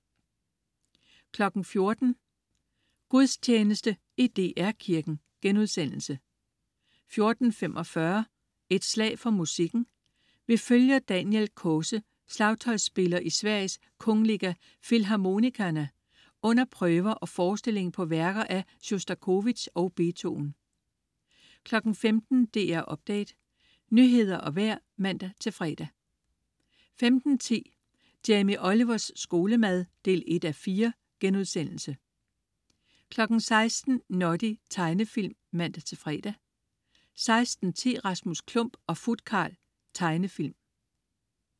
14.00 Gudstjeneste i DR Kirken* 14.45 Et slag for musikken. Vi følger Daniel Kåse, slagtøjsspiller i Sveriges Kungliga Filharmonikerna, under prøver og forestilling på værker af Sjostakovitj og Beethoven 15.00 DR Update. Nyheder og vejr (man-fre) 15.10 Jamie Olivers skolemad 1:4* 16.00 Noddy. Tegnefilm (man-fre) 16.10 Rasmus Klump og Futkarl. Tegnefilm